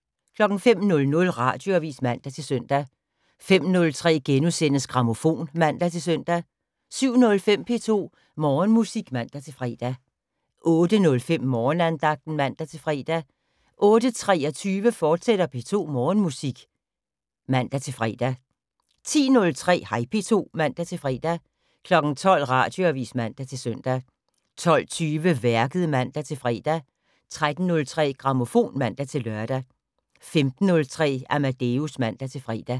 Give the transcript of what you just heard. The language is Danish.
05:00: Radioavis (man-søn) 05:03: Grammofon *(man-søn) 07:05: P2 Morgenmusik (man-fre) 08:05: Morgenandagten (man-fre) 08:23: P2 Morgenmusik, fortsat (man-fre) 10:03: Hej P2 (man-fre) 12:00: Radioavis (man-søn) 12:20: Værket (man-fre) 13:03: Grammofon (man-lør) 15:03: Amadeus (man-fre)